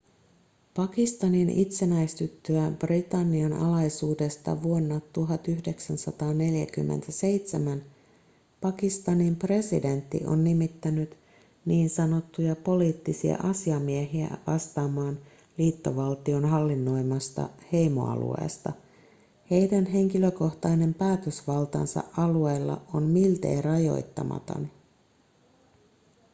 pakistanin itsenäistyttyä britannian alaisuudesta vuonna 1947 pakistanin presidentti on nimittänyt ns poliittisia asiamiehiä vastaamaan liittovaltion hallinnoimasta heimoalueesta heidän henkilökohtainen päätösvaltansa alueilla on miltei rajoittamaton